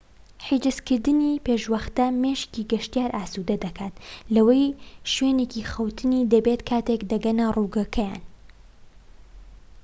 حیجزکردنی پێشوەختە مێشكی گەشتیار ئاسودە دەکات لەوەی شوێنێکی خەوتنی دەبێت کاتێك دەگەنە ڕووگەکەیان